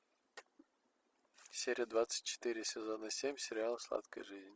серия двадцать четыре сезона семь сериала сладкая жизнь